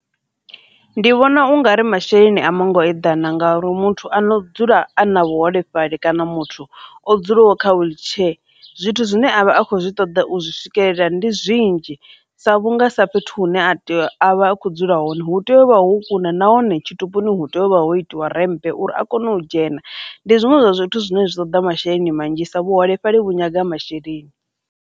Ndi vhona ungari masheleni a manngo eḓana nga uri muthu a no dzula a na vhuholefhali kana muthu o dzulaho kha wheelchair zwithu zwine a vha a khou zwi ṱoḓa u zwi swikelela ndi zwinzhi, sa vhunga sa fhethu hune a vha a kho dzula hone hu tea u vha ho kuna nahone tshitupuni hu tea u vha ho itiwa remmphe uri a kone u dzhena, ndi zwiṅwe zwa zwithu zwine zwi ṱoḓa masheleni manzhisa vhuholefhali vhu nyaga masheleni.